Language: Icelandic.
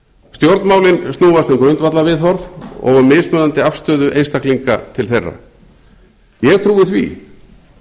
stjórnmálin snúast um grundvallarviðhorf og um mismunandi afstöðu einstaklinga til þeirra ég trúi því